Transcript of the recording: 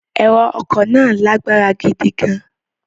Ẹ̀rọ ọkọ̀ náà lágbára gidi gan-an.